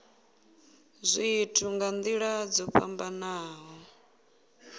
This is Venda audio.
zwithu nga nila dzo fhambanaho